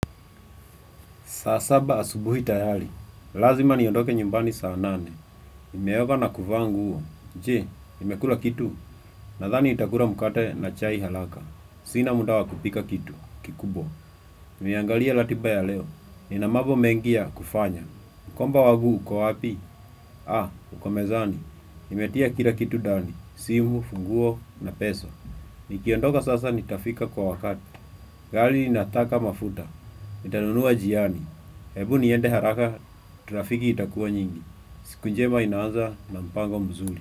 Saasaba asubuhi tayali. Lazima niondoke nyumbani saa nane. Nimeoga na kuvaa nguo Je, nimekula kitu. Nadhani nitakula mkate na chai haraka. Sina muda wa kupika kitu. Kikubwa. Nimeangalia ratiba ya leo. Ninamabo mengi ya kufanya. Mkoba wangu uko wapi? Ha, ukomezani. Nimetia kila kitu ndani. Simu, funguo, na pesa. Nikiondoka sasa ni tafika kwa wakati. Gari lina taka mafuta. Nitanunua njiani. Hebu niende haraka trafiki itakuwa nyingi. Siku njema inaaza na mpango mzuri.